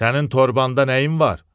Sənin torbada nəyin var?